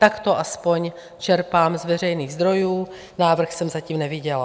Tak to aspoň čerpám z veřejných zdrojů, návrh jsem zatím neviděla.